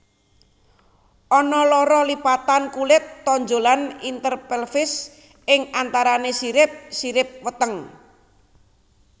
Ana loro lipatan kulit tonjolan interpelvis ing antarané sirip sirip weteng